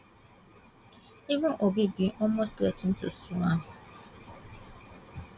even obi bin almost threa ten to sue am